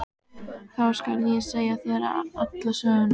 Þá skal ég segja þér alla söguna.